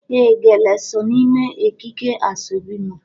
ee ,Gele so n'ime ekike asobi mu.